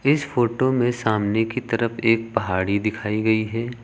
इस फोटो में सामने की तरफ एक पहाड़ी दिखाई गई है।